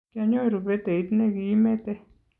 kianyoru peteit ne kiimete